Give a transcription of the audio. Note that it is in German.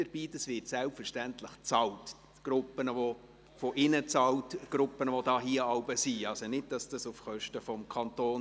Ihre Konsumation wird selbstverständlich bezahlt, sie erfolgt also nicht auf Kosten des Kantons.